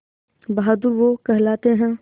बहादुर वो कहलाते हैं